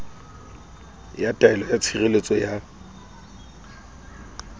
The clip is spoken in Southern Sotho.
ya taelo ya tshireletso ya